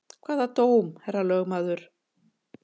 Hvaða dóm, herra lögmaður?